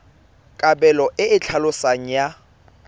kabelo e e tlhaloswang ya